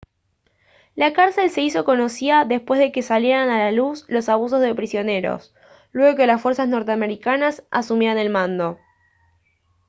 la cárcel se hizo conocida después de que salieran a la luz los abusos de prisioneros luego de que las fuerzas norteamericanas asumieran el mando